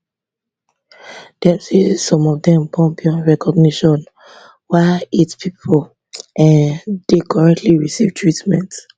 dem say some of dem burn beyond recognition while eight pipo um dey currently receive treatment